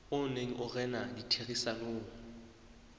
o neng o rena ditherisanong